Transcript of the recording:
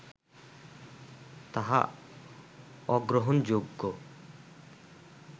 তাহা অগ্রহণযোগ্য